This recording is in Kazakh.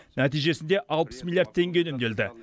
нәтижесінде алпыс миллиард теңге үнемделді